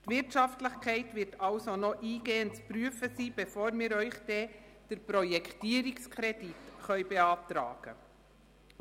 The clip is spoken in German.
Die Wirtschaftlichkeit wird also noch eingehend zu prüfen sein, bevor wir Ihnen den Projektierungskredit beantragen können.